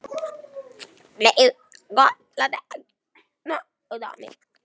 Blessuð góða, láttu ekki svona utan í mér.